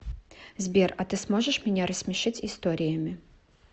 сбер а ты сможешь меня рассмешить историями